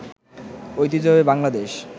ঐতিহ্যবাহী বাংলাদেশ